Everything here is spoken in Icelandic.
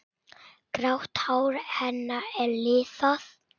Grátt hár hennar er liðað.